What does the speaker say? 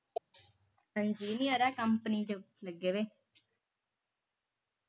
engineer ਆ company ਚ ਲੱਗੇ ਵੇ